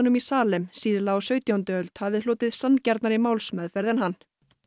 í Salem síðla á sautjándu öld hafi hlotið sanngjarnari málsmeðferð en hann